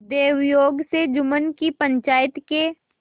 दैवयोग से जुम्मन की पंचायत के